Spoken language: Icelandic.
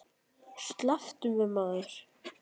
Slepptu mér maður.